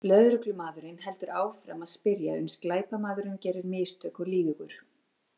Lögreglumaðurinn heldur áfram að spyrja uns glæpamaðurinn gerir mistök og lýgur.